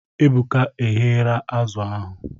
Ebuka egheera azụ ahụ